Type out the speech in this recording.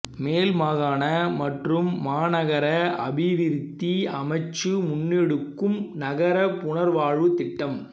மேல் மாகாண மற்றும் மாநகர அபிவிருத்தி அமைச்சு முன்னெடுக்கும் நகர புனர்வாழ்வுத் திட்டம்